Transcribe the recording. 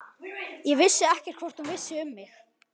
Ég vissi ekkert hvort hún vissi um mig.